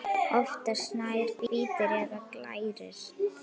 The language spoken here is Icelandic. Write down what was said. Oftast nær hvítir eða glærir.